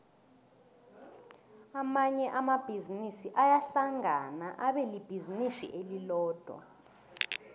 amanye amabhizinisi ayahlangana abelibhizinisi elilodwa